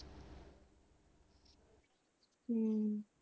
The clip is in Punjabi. ਹਮ